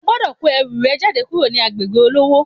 O gbodò kó ẹrù rẹ jáde kúrò ní agbègbè olówó